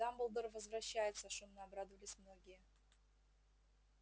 дамблдор возвращается шумно обрадовались многие